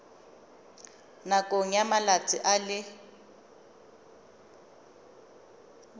nakong ya malatsi a le